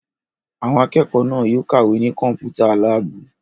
Àwọn akẹ́kọ̀ọ́ náà yóò kàwé ní Kọ́mpútà láàbù!